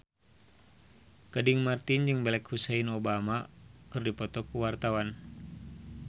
Gading Marten jeung Barack Hussein Obama keur dipoto ku wartawan